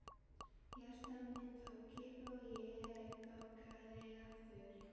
Hjarta mitt tók kipp og ég bankaði aftur.